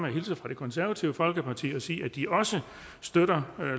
hilse fra det konservative folkeparti og sige at de også støtter